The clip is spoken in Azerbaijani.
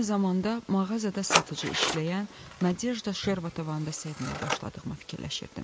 Eyni zamanda mağazada satıcı işləyən Nadejda Şervatovannı da sevməyə başladığımı fikirləşirdim.